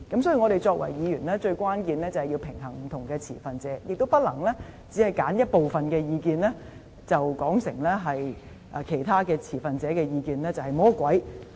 所以，我們作為議員，最關鍵的作用是平衡不同的持份者的意見，也不能只是揀選一部分意見，然後便把其他持份者的意見說成像魔鬼般。